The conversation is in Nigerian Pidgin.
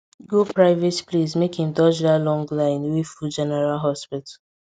go private place make im dodge that long line wey full general hospital